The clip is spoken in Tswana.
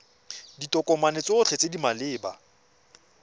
ditokomane tsotlhe tse di maleba